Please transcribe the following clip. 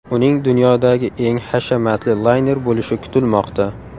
Uning dunyodagi eng hashamatli layner bo‘lishi kutilmoqda.